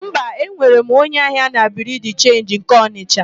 Mba, enwere m onye ahịa na Biriu de Chenji nke Ọnịsha.